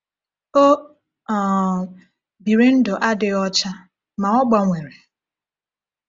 O um biri ndụ adịghị ọcha, ma ọ gbanwere.